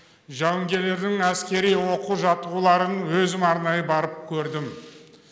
жауынгерлердің әскери оқу жаттығуларын өзім арнайы барып көрдім